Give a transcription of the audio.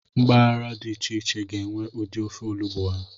Mpaghara dị iche iche ga-enwe ụdị ofe olugbu ha.